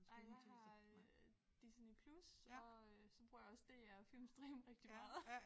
Nej jeg har øh Disney+ og øh så bruger jeg også DR og Filmstriben rigtig meget